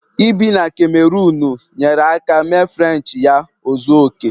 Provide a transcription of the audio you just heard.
Ibi na kamerunu nyeere aka mee Frenchi ya ozuo oke